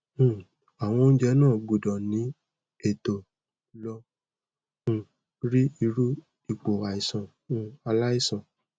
um awon ounje na gbudo ni eto lo um ri iru ipo aisan um alaisan